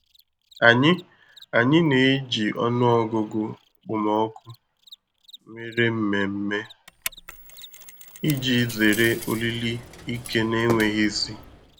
Anyị Anyị na-eji ọnụọgụgụ okpomọkụ nwere mmemme iji zere oriri ike na-enweghị isi.